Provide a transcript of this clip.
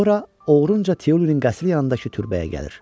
Sonra oğrunca Tiulinin qəsli yanındakı türbəyə gəlir.